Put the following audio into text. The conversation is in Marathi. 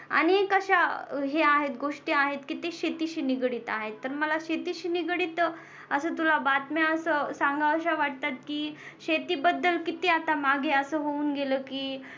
अनेक अश्या या ह्या आहेत गोष्टी आहेत तिच्या शेतीशी निगडित आहेत मला शेतीशी निगडित अस तुला बातम्या असं सांगाव्यास्या वाटतात की शेतीबद्दल किती आता मागे असं होऊन गेलं की